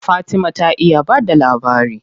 Fatima ta iya ba da labari.